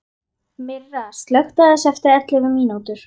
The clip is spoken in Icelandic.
Myrra, slökktu á þessu eftir ellefu mínútur.